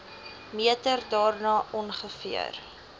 meter daarna ongeveer